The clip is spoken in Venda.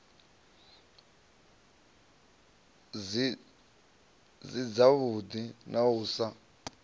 si dzavhuḓi na u sa